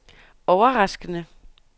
overraskende